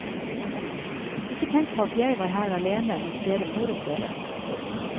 Ikke tenk på at jeg var her alene mens dere moret dere.